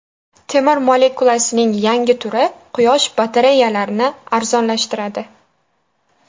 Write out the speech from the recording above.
Temir molekulasining yangi turi Quyosh batareyalarni arzonlashtiradi.